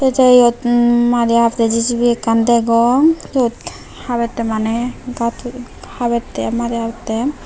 tey eyotun madi habetteh J_C_B ekkan degong syot habettey maneh gat habetteg madi habetttey.